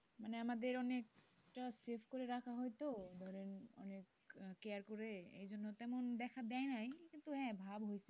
মানে আমাদের অনেকটা save করে রাখা হয় তো ধরেন অনেক care করে, এই জন্য তেমন দেখা দেয়নি কিন্তু হ্যাঁ ভাব হয়েছে।